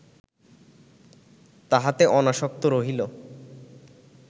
তাহাতে অনাসক্ত রহিল